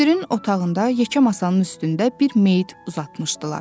Müdirin otağında, yekə masanın üstündə bir meyit uzatmışdılar.